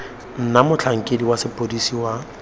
na motlhankedi wa sepodisi wa